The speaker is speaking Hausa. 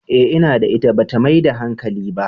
Eh ina da ita, ba ta maida hankali ba.